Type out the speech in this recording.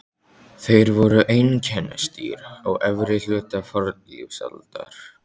Þeir voru einkennisdýr á efri hluta fornlífsaldar.